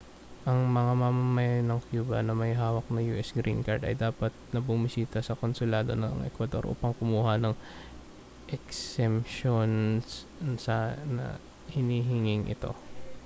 ang mga mamamayan ng cuba na may hawak na us green card ay dapat na bumisita sa konsulado ng ecuador upang kumuha ng eksemsyon sa hinihinging ito